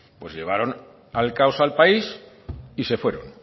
pues llevaron al caos al país y se fueron